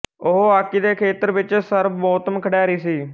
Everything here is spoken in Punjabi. ਉਹ ਹਾਕੀ ਦੇ ਖੇਤਰ ਵਿਚ ਸਰਬੋਤਮ ਖਿਡਾਰੀ ਸੀ